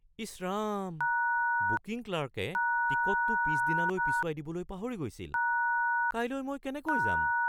ইছ Ram! Booking ক্লাৰ্কে টিকটটো পিছদিনালৈ পিছুৱাই দিবলৈ পাহৰি গৈছিল। কাইলৈ মই কেনেকৈ যাম?